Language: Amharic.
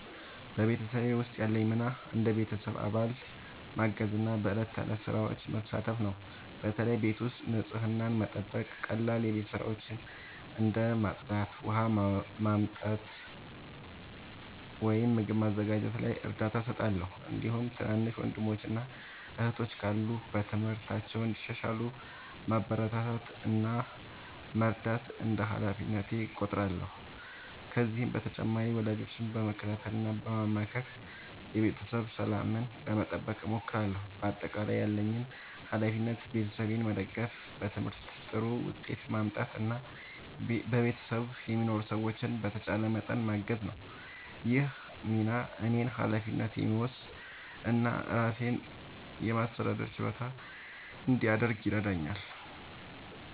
በቤተሰቤ ውስጥ ያለኝ ሚና እንደ ቤተሰብ አባል ማገዝና በዕለት ተዕለት ሥራዎች መሳተፍ ነው። በተለይ ቤት ውስጥ ንጽህናን መጠበቅ፣ ቀላል የቤት ሥራዎችን እንደ ማጽዳት፣ ውሃ ማመጣት ወይም ምግብ ማዘጋጀት ላይ እርዳታ እሰጣለሁ። እንዲሁም ትናንሽ ወንድሞችና እህቶች ካሉ በትምህርታቸው እንዲሻሻሉ ማበረታታት እና መርዳት እንደ ሃላፊነቴ እቆጥራለሁ። ከዚህ በተጨማሪ ወላጆቼን በመከታተል እና በማክበር የቤተሰብ ሰላምን ለመጠበቅ እሞክራለሁ። በአጠቃላይ ያለብኝ ሃላፊነት ቤተሰቤን መደገፍ፣ በትምህርቴ ጥሩ ውጤት ማምጣት እና በቤት ውስጥ የሚኖሩ ሥራዎችን በተቻለኝ መጠን ማገዝ ነው። ይህ ሚና እኔን ኃላፊነት የሚወስድ እና ራሴን የማስተዳደር ችሎታ እንዲያድግ ይረዳኛል።